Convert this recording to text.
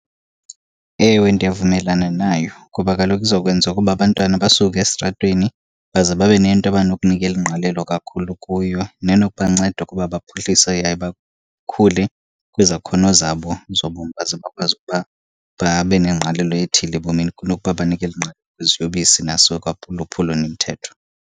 Ewe, ndiyavumelana nayo kuba kaloku izokwenza ukuba abantwana basuke esitratweni baze babe nento abanokunikela ingqalelo kakhulu kuyo nenokubanceda ukuba baphuhlise yaye bakhule kwizakhono zabo zobomi baze bakwazi ukuba babe nengqalelo ethile ebomini kunokuba banikele ingqalelo kwiziyobisi umthetho.